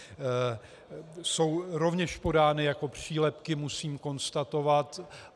Jsou rovněž podány jako přílepky, musím konstatovat.